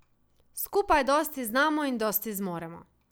Skupaj dosti znamo in dosti zmoremo.